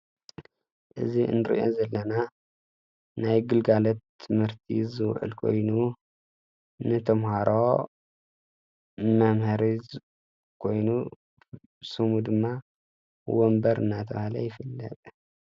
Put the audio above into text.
እዝ እንርእአ ዘለና ናይ ግልጋለት ትምህርቲዝዕል ኮይኑ ንቶምሃሮ መምሐሪዝ ኮይኑ ስሙ ድማ ወንበር እናታውሃለ ይፈለጥ።